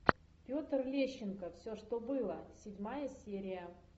петр лещенко все что было седьмая серия